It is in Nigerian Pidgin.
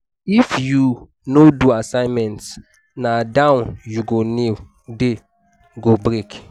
if you no do assignment na down you go kneel day go break.